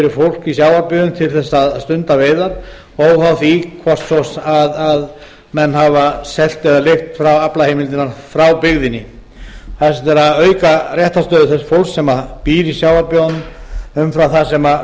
í sjávarbyggðum til þess að stunda veiðar óháð því hvort menn hafi selt eða leigt aflaheimildirnar frá byggðinni það er sem sagt verið að auka réttarstöðu þess fólks sem býr í sjávarbyggðunum umfram það sem